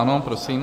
Ano, prosím.